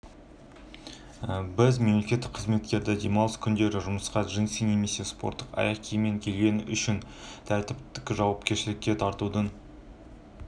осыдан бірер күн бұрын құқық қорғаушылар алматыдағы караоке-клубына рейд жүргізіп онда жезөкшелер ордасының бар екенін анықтаған